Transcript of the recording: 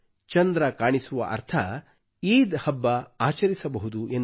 ಚಂದ್ರ ಕಾಣಿಸುವ ಅರ್ಥ ಈದ್ ಆಚರಿಸಬಹುದು ಎಂದು